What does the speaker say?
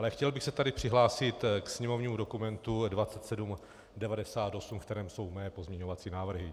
Ale chtěl bych se tady přihlásit ke sněmovnímu dokumentu 2798, ve kterém jsou mé pozměňovací návrhy.